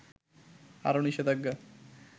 আরো নিষেধাজ্ঞা